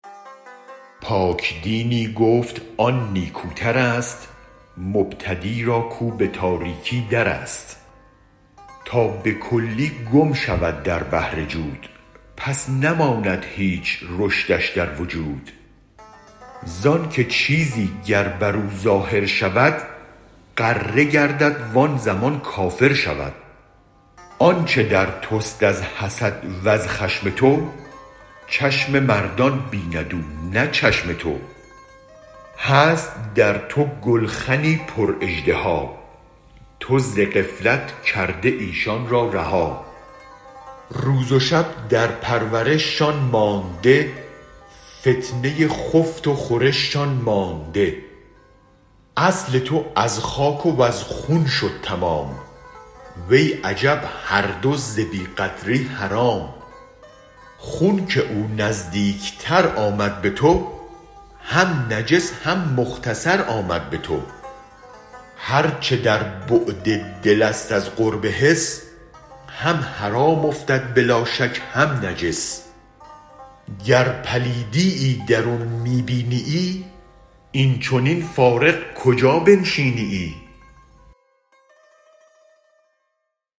پاک دینی گفت آن نیکوترست مبتدی را کو به تاریکی درست تا به کلی گم شود در بحر جود پس نماند هیچ رشدش در وجود زانک چیزی گر برو ظاهر شود غره گردد وان زمان کافر شود آنچ در تست از حسد و از خشم تو چشم مردان بیند اونه چشم تو هست در تو گلخنی پر اژدها تو ز غفلت کرده ایشان را رها روز و شب در پرورش شان مانده فتنه خفت و خورش شان مانده اصل تو از خاک وز خون شد تمام وی عجب هر دو ز بی قدری حرام خون که او نزدیک تر آمد به تو هم نجس هم مختصر آمد به تو هرچ در بعد دلست از قرب حس هم حرام افتد بلا شک هم نجس گر پلیدیی درون می بینیی این چنین فارغ کجا بنشینیی